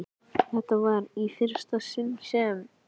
Þetta var í fyrsta sinn sem